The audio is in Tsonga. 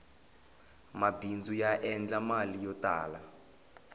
mabindzu ya endla mali yo tala